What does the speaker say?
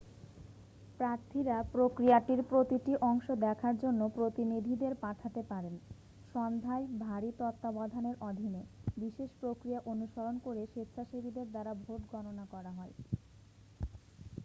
প্রার্থীরা প্রক্রিয়াটির প্রতিটি অংশ দেখার জন্য প্রতিনিধিদের পাঠাতে পারেন সন্ধ্যায় ভারী তত্ত্বাবধানের অধীনে বিশেষ প্রক্রিয়া অনুসরণ করে স্বেচ্ছাসেবীদের দ্বারা ভোট গণনা করা হয়